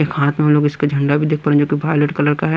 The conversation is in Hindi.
एक हाथ में हम लोग इसका झंडा भी देख पा रहे हैं जो कि वायलेट कलर का है।